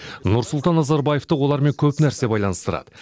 нұрсұлтан назарбаевты олармен көп нәрсе байланыстырады